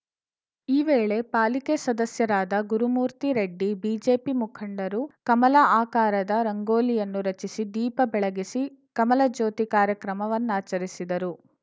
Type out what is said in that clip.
ಈ ವೇಳೆ ಪಾಲಿಕೆ ಸದಸ್ಯರಾದ ಗುರುಮೂರ್ತಿರೆಡ್ಡಿ ಬಿಜೆಪಿ ಮುಂಖಡರು ಕಮಲ ಆಕಾರದ ರಂಗೋಲಿಯನ್ನು ರಚಿಸಿ ದೀಪ ಬೆಳಗಿಸಿ ಕಮಲ ಜ್ಯೋತಿ ಕಾರ್ಯಕ್ರಮವನ್ನಾಚರಿಸಿದರು